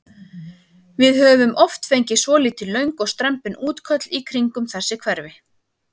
Við höfum oft fengið svolítið löng og strembin útköll í kringum þessi hverfi?